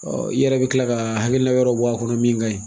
i yɛrɛ bɛ kila ka hakili la wɛrɛ bɔ a kɔnɔ min ka ɲi.